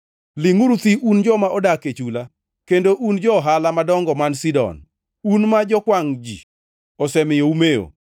Lingʼuru thi un joma odak e chula, kendo un jo-ohala madongo man Sidon, un ma jokwangʼ ji osemiyo umewo.